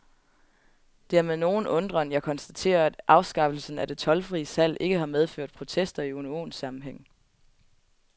Det er med nogen undren, jeg konstaterer, at afskaffelsen af det toldfrie salg ikke har medført protester i unionssammenhæng.